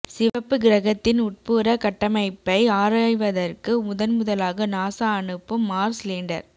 சிவப்பு கிரகத்தின் உட்புற கட்டமைப்பை ஆராய்வதற்கு முதன் முதலாக நாசா அனுப்பும் மார்ஸ் லேண்டர்